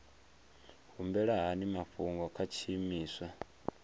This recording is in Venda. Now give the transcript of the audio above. humbela hani mafhungo kha tshiimiswa